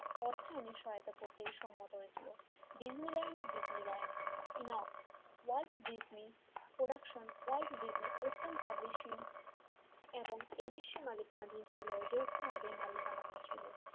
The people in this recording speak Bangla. অর্থায়নের সম্মত করতে সহায়তা করতে সম্মত হয়েছিল ডিজনি ল্যান্ড ডিজনি ল্যান্ড ইনো world Disney production world Disney open publishing এবং এবিসি মালিকানা দিয়েছিল যৌথভাবে মালিকানা দিয়েছিল,